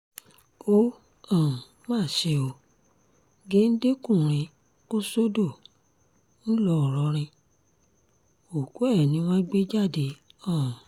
ó um má ṣe ó géńdé-kùnrin kò sódò ńlọrọ́rìn òkú ẹ̀ ni wọ́n gbé jáde um